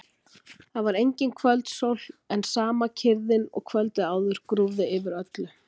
Það var engin kvöldsól en sama kyrrðin og kvöldið áður grúfði yfir öllu.